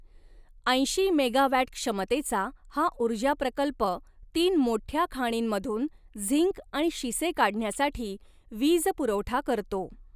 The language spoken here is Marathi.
ऐंशी मेगावॅट क्षमतेचा हा ऊर्जा प्रकल्प तीन मोठ्या खाणींमधून झिंक आणि शिसे काढण्यासाठी वीज पुरवठा करतो.